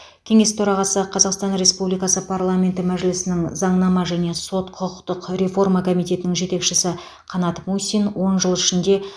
кеңес төрағасы қазақстан республикасы парламенті мәжілісінің заңнама және сот құқықтық реформа комитетінің жетекшісі қанат мусин он жыл ішінде